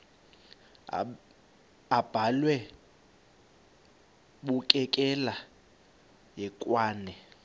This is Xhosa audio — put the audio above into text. abhalwe bukekela hekwane